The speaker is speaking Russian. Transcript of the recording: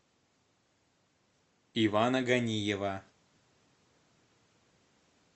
ивана ганиева